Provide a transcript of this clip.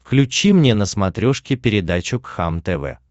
включи мне на смотрешке передачу кхлм тв